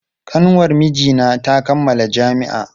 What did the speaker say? Kanwar mijina ta kammala jami'a.